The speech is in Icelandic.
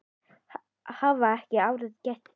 Hafa ekki aðrir gert betur.